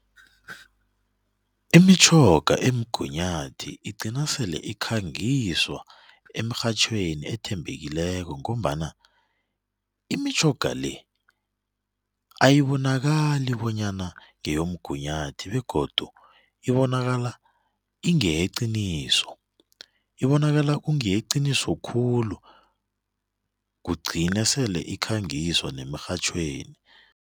Imitjhoga emgunyathi igcina sele ikhangiswa emrhatjhweni ethembekileko ngombana imitjhoga le ayibonakali bonyana ngeyomgunyathi begodu ibonakala ingeyeqiniso, ibonakala kungeyeqiniso khulu kugcine sele ikhangiswa nemirhatjhweni.